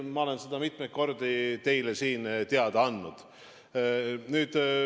Ma olen seda mitmeid kordi teile siin teada andnud.